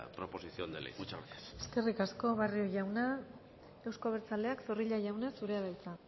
proposición de ley muchas gracias eskerrik asko barrio jauna euzko abertzaleak zorrilla jauna zurea da hitza